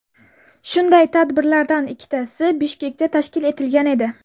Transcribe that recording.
Shunday tadbirlardan ikkitasi Bishkekda tashkil etilgan edi.